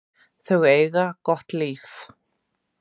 Þau eiga gott líf.